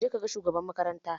Ka je ka ga shugaban makaranta!